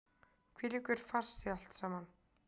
Hvílíkur farsi allt saman!